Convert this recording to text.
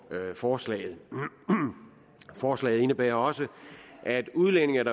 forslaget forslaget indebærer også at udlændinge